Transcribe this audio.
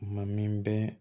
Ma min bɛ